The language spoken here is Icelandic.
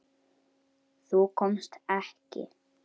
Þú komst ekki.